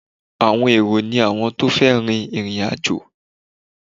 Àwọn èrò ni àwọn tó fẹ́ rìn ìrìn àjò.